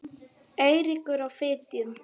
Eiríkur á Fitjum.